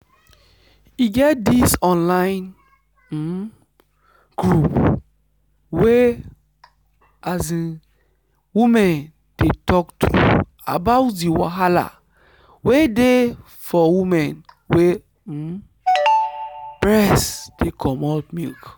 e get this online um group where um women dey talk truth about the wahala wey dey for women wey um breast dey comot milk.